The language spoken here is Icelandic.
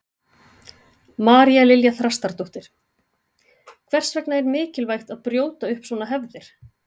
María Lilja Þrastardóttir: Hvers vegna er mikilvægt að brjóta upp svona hefðir?